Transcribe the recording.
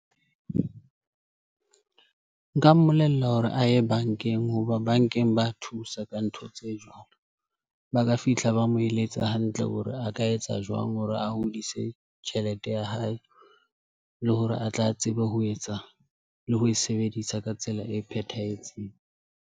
Nka mmolella hore a ye bankeng hoba bankeng ba thusa ka ntho tse jwalo, ba ka fihla ba mo eletsa hantle hore a ka etsa jwang hore a hodise tjhelete ya hae le hore a tla tsebe ho etsa le ho e sebedisa ka tsela e phethahetseng.